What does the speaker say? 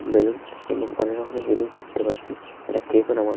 Balloon এবং অনেক রকমের জিনিস দেখতে পাচ্ছি। একটা কেক ও নামানো হ --